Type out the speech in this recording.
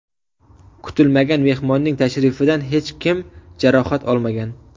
Kutilmagan mehmonning tashrifidan hech kim jarohat olmagan.